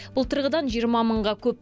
былтырғыдан жиырма мыңға көп